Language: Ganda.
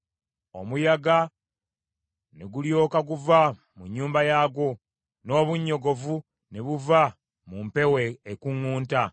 Omuyaga ne gulyoka guva mu nnyumba yaagwo, n’obunnyogovu ne buva mu mpewo ekuŋŋunta.